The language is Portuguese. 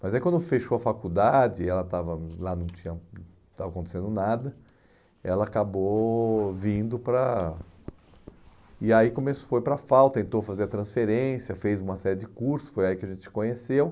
Mas aí quando fechou a faculdade, ela estava lá, não tinha, não estava acontecendo nada, ela acabou vindo para... E aí foi come para a FAU, tentou fazer a transferência, fez uma série de cursos, foi aí que a gente se conheceu.